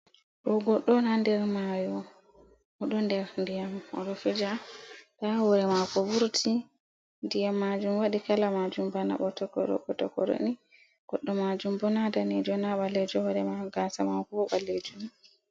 Ɗum godɗo on ha nder mayo oɗo nder diyam oɗo fija, ta hure mako vurti diyam majum wadi kala majum bana ɓo trbo tokoroni goɗɗo majum bona danijo na balejo, hore mako gasa mako bo ba. lejum